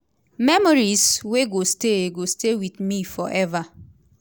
memories wey go stay go stay wit me forever.